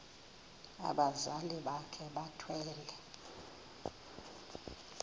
abazali bakhe bethwele